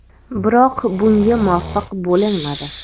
Biroq bunga muvaffaq bo‘linmadi.